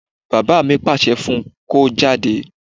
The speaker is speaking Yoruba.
Bàbá mi pàṣẹ fún un kó jáde